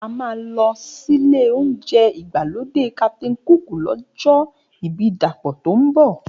A máa lọ sílé oúnjẹ ìgbàlódé Captain Cook lọ́jọ́ ibí Dapọ̀ tó ń bọ̀